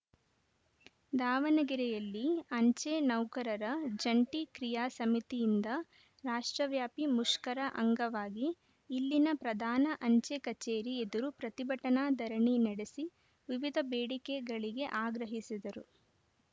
ದಾವಣಗೆರೆಯಲ್ಲಿ ಅಂಚೆ ನೌಕರರ ಜಂಟಿ ಕ್ರಿಯಾ ಸಮಿತಿಯಿಂದ ರಾಷ್ಟ್ರವ್ಯಾಪಿ ಮುಷ್ಕರ ಅಂಗವಾಗಿ ಇಲ್ಲಿನ ಪ್ರಧಾನ ಅಂಚೆ ಕಚೇರಿ ಎದುರು ಪ್ರತಿಭಟನಾ ಧರಣಿ ನಡೆಸಿ ವಿವಿಧ ಬೇಡಿಕೆಗಳಿಗೆ ಆಗ್ರಹಿಸಿದರು